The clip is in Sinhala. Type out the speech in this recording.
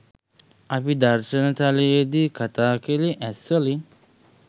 අපි දර්ශන තලයේදී කතා කළේ ඇස්වලින්.